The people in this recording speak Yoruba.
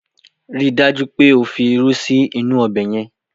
Rí i dájú pé o fi irú sí inú ọbẹ̀ yẹn!